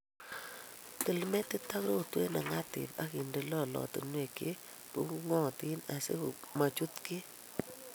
Til metit ak rotwet ne ng'atib akinde lolotinwek che bubung'otin asi machut kiy